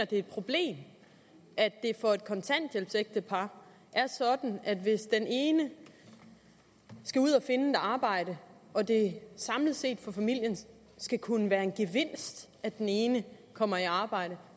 det er et problem at det for et kontanthjælpsægtepar er sådan at hvis den ene skal ud og finde et arbejde og det samlet set for familien skal kunne være en gevinst at den ene kommer i arbejde